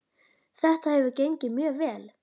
Þetta hefur gengið mjög vel.